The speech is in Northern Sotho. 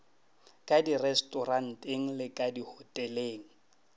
ka direstoranteng le ka dihoteleng